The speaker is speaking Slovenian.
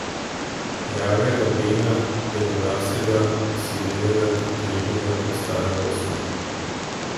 Rjavega Bena, belolasega, osivelega, trpežnega kot staro usnje.